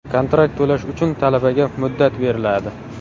Kontrakt to‘lash uchun talabaga muddat beriladi.